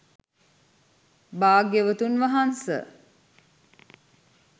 භාග්‍යවතුන් වහන්ස